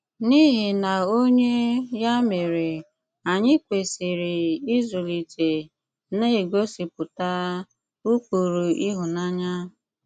N’ìhì̀ na onyé, yà mére, ànyị kwesị̀rì ịzụ̀lìté na-ègosìpùtà ụ́kpụrụ̀ ìhụ̀nànyà?